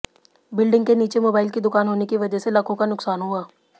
building के नीचे mobile की दुकान होने की वजह से लाखों का नुकसान हुआ